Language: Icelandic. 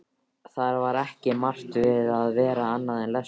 Það var ekki margt við að vera annað en lestur.